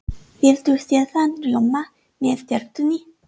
Viltu sýrðan rjóma með tertunni?